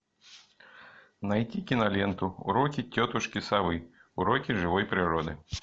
найти киноленту уроки тетушки совы уроки живой природы